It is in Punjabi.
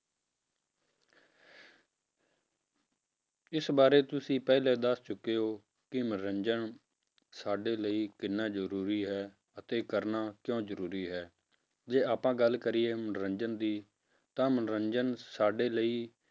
ਇਸ ਬਾਰੇ ਤੁਸੀਂ ਪਹਿਲੇ ਹੀ ਦੱਸ ਚੁੱਕੇ ਹੋ ਕਿ ਮਨੋਰੰਜਨ ਸਾਡੇ ਲਈ ਕਿੰਨਾ ਜ਼ਰੂਰੀ ਹੈ ਅਤੇ ਕਰਨਾ ਕਿਉਂ ਜ਼ਰੂਰੀ ਹੈ, ਜੇ ਆਪਾਂ ਗੱਲ ਕਰੀਏ ਮਨੋਰੰਜਨ ਦੀ ਤਾਂ ਮਨੋਰੰਜਨ ਸਾਡੇ ਲਈ